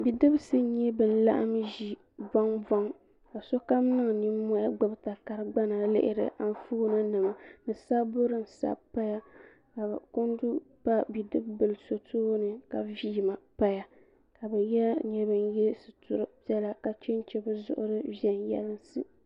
Bidibsi n nyɛ ban laɣim ʒi boŋ boŋ so kam niŋ ninmohi gbibi bɛ takari gbana lihira di puuni Anfooni nima ni sabbu din sabi paya kundu pa bidibila so tooni ka villi paya ka bɛ nyɛ ban ye situri viɛla ka chenche bɛ zuɣuri viɛnyela.